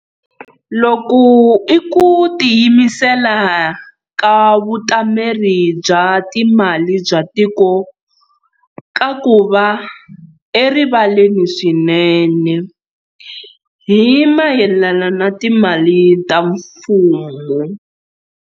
Loku i ku tiyimisela ka Vutameri bya Timali bya Tiko ka ku va erivaleni swinene hi mayelana na timali ta mfumo.